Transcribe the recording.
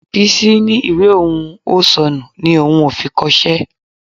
Bísí ní ìwé òun ò sọnù ni òun ò fi kọṣẹ́